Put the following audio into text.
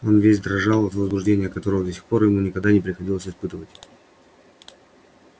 он весь дрожал от возбуждения которого до сих пор ему никогда не приходилось испытывать